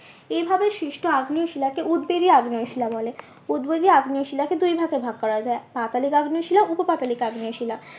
এভাবে সৃষ্ট অগ্নিয় শিলাকে উদবেধী অগ্নিয় শিলা বলে। উদবেধী আগ্নেয় শিলাকে দুই ভাগে ভাগ করা যায় পাতালিক আগ্নেয় শিলা উপপাতলিক আগ্নেয় শিলা